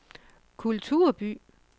kulturby